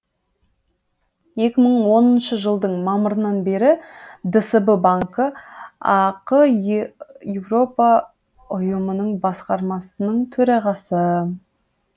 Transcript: екі мың оныншы жылдың мамырынан бері дсб банкі ақ е европа ұйымының басқармасының төрағасы